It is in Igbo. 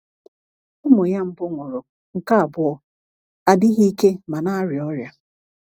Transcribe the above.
Ụmụ ya mbụ nwụrụ, nke abụọ adịghị ike ma na-arịa ọrịa.